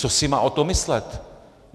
Co si má o tom myslet?